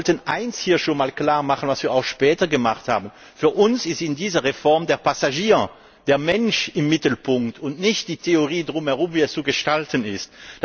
Und wir wollten hier eines klarmachen, was wir auch später gemacht haben Für uns steht in dieser Reform der Passagier der Mensch im Mittelpunkt und nicht die Theorie darum herum, wie es zu gestalten ist.